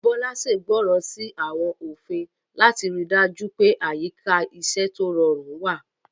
Bola ṣègbọràn sí àwọn òfin láti rí i dájú pé àyíká iṣẹ́ tó rọrùn wà.